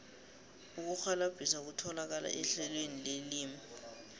ukurhwalabhisa kutholakala ehlelweni lelimi